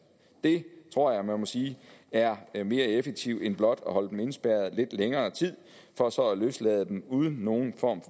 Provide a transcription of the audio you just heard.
det tror jeg at man må sige er er mere effektivt end blot at holde dem indespærret i lidt længere tid for så at løslade dem uden nogen form